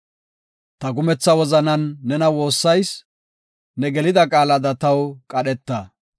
Ta kumetha wozanan nena woossayis; ne gelida qaalada taw qadheta.